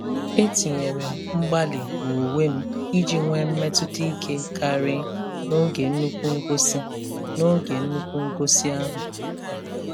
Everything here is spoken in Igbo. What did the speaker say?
E tinyere m mgbalị n'uwe m iji nwee mmetụta ike karị n'oge nnukwu ngosi n'oge nnukwu ngosi ahụ.